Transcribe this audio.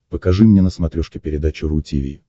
покажи мне на смотрешке передачу ру ти ви